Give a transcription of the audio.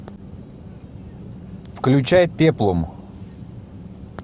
включай пеплум